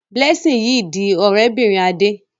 Blessing yí dì òré bìrìn Ade.